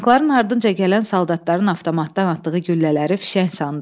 Tankların ardınca gələn soldatların avtomatdan atdığı güllələri fişəng sandıq.